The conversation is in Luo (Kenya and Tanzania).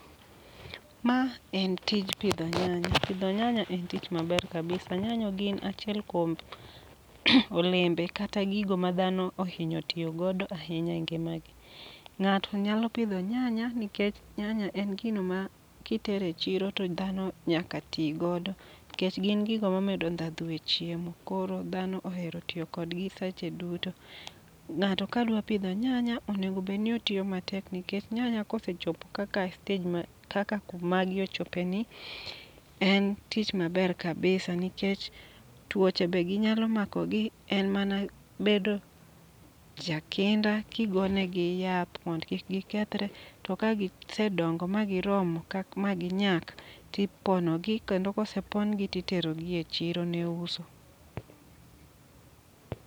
Ma en tij pidho nyanya, pidho nyanya en tich maber kabisa. Nyanya gin achiel kuom olembe kata gigo ma dhano ohinyo tiyo godo ahinya e ngima gi. Ng'ato nyalo pidho nyanya nikech nyanya en gino ma kitere chiro to dhano nyaka tigodo. Kech gin gigo ma medo ndhadhu e chiemo, koro dhano ohero tiyo kodgi seche duto. Ng'ato kadwa pidho nyanya, onego bedni otiyo matek nikech nyanya kosechopo kaka e stej kaka kumagi ochope ni. En tich maber kabisa nikech tuoche be gi nyalo mako gi, en mana bedo ja kinda kigone gi yath mond kik gikethre. To ka gise dongo ma giromo ma gi nyak, tipono gi kendo kose pon gi titerogi e chiro ne uso.